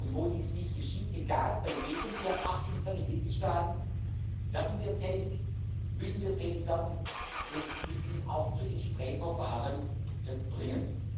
Wo dies nicht geschieht, egal bei welchem der 28 Mitgliedstaaten, werden wir tätig, müssen wir tätig werden und müssen dies auch zu entsprechenden Verfahren bringen.